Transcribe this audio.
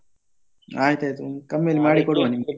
ಆಯ್ತಯ್ತು ಕಮ್ಮಿಯಲ್ಲಿ ಮಾಡಿ ಕೊಡುವ ನಿಮ್ಗೆ.